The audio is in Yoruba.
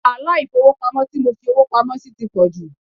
Wàhálà ifowopamo tí mo fi owó pamó sì ti pò jù.